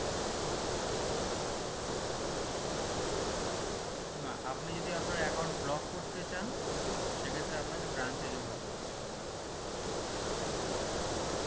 না আপনি যদি আপনার account block করতে চান সেক্ষেত্রে আপনাকে branch এ যোগাযোগ করতে হবে